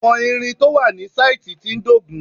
Àwọn ìrìn tó wà ní sáìtì tí ń dógùn-ún